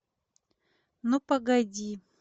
ну погоди